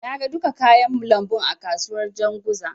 Na ga duka kayan lambun a kasuwar Janzuga.